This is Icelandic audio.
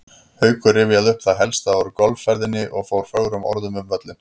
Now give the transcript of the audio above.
Haukur rifjaði upp það helsta úr golfferðinni og fór fögrum orðum um völlinn.